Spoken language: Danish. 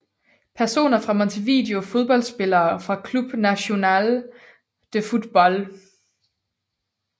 Personer fra Montevideo Fodboldspillere fra Club Nacional de Football